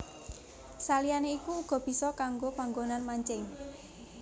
Saliyané iku uga bisa kanggo panggonan mancing